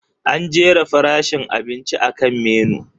An jera farashin abinci akan Menu.